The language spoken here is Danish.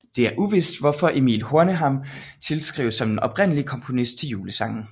Det er uvist hvorfor Emil Horneman tilskrives som den oprindelige komponist til julesangen